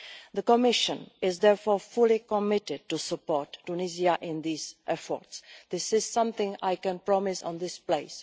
The Commission is therefore fully committed to support Tunisia in these efforts. This is something I can promise in this place.